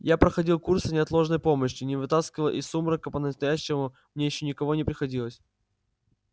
я проходил курсы неотложной помощи но вытаскивать из сумрака по-настоящему мне ещё никого не приходилось